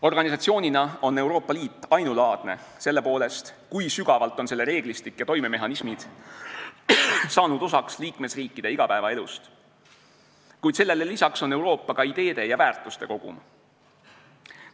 Organisatsioonina on Euroopa Liit ainulaadne selle poolest, kui sügavalt on selle reeglistik ja toimemehhanismid saanud osaks liikmesriikide igapäevaelust, kuid sellele lisaks on Euroopa ka ideede ja väärtuste kogum.